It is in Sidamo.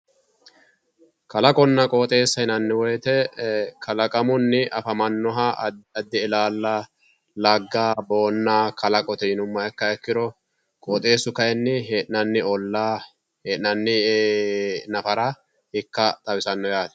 kalaqonna qooxeesa yinanni woyiite kalaqamunni afamannoha addi addi ilaalla, lagga, boonna kalaqote yinumoha ikkihaikkiro qooxeessu kayiini hee'nanni olaa he'nanni nafara ikka xawisanno yaate